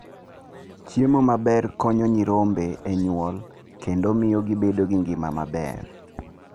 Chiemo maber konyo nyirombe e nyuol kendo miyo gibedo gi ngima maber.